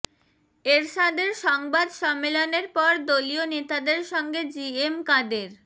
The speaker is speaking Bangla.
এরশাদের সংবাদ সম্মেলনের পর দলীয় নেতাদের সঙ্গে জিএম কাদের